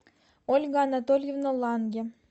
ольга анатольевна ланге